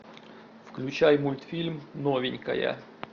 включай мультфильм новенькая